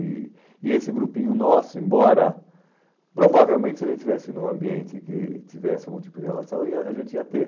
E e esse grupinho nosso, embora provavelmente se a gente estivesse num ambiente que tivesse algum tipo de relação, ia a gente ia ter.